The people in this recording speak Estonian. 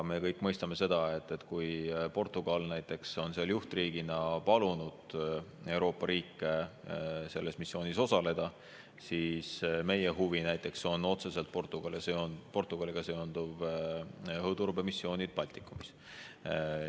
Me kõik mõistame seda, et kui Portugal on seal juhtriigina palunud Euroopa riike selles missioonis osaleda, siis meie huvi näiteks on otseselt Portugaliga seonduvad õhuturbemissioonid Baltikumis.